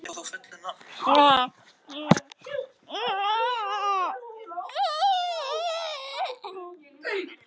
Laugey, hvar er dótið mitt?